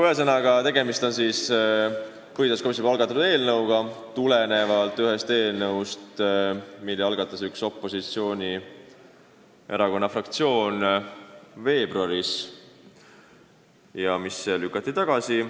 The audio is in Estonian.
Ühesõnaga, tegemist on põhiseaduskomisjoni algatatud eelnõuga, mis algatati tulenevalt ühest eelnõust, mille algatas üks opositsioonierakonna fraktsioon veebruaris ja mis lükati tagasi.